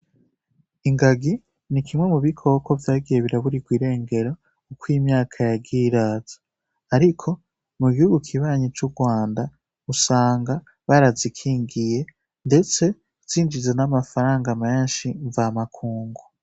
Ingagi ni kimwe mu bikoko vyagiye biraburirwa irengero uko imyaka yagiye iraza. Ariko, mu gihigu kibanyi c'uRwanda, usanga barazikingiye, ndetse zinjiza n'amafaranga menshi mvamakungu.